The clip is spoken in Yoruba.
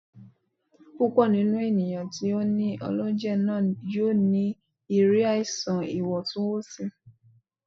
Púpọ ninú ènìyàn tí o ní ọlọjẹ náà yóò ní ìrírí àìsàn ìwọntúnwọnsí